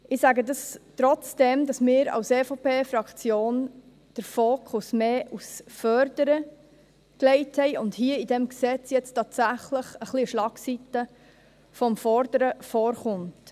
Ich sage dies, obwohl wir als EVP-Fraktion den Fokus mehr auf das Fördern legten und hier in diesem Gesetz tatsächlich eine Schlagseite des Forderns vorkommt.